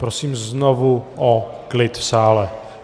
Prosím znovu o klid v sále.